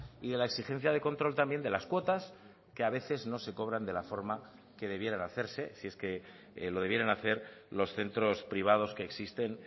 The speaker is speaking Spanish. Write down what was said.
y de la exigencia de control también de las cuotas que a veces no se cobran de la forma que debieran hacerse si es que lo debieran hacer los centros privados que existen